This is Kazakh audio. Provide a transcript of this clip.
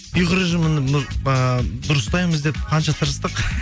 ұйқы режимін ыыы дұрыстаймыз деп қанша тырыстық